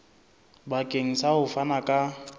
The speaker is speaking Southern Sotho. bakeng sa ho fana ka